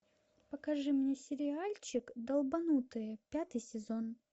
покажи мне сериальчик долбанутые пятый сезон